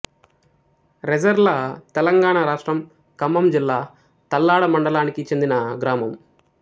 రెజెర్ల తెలంగాణ రాష్ట్రం ఖమ్మం జిల్లా తల్లాడ మండలానికి చెందిన గ్రామం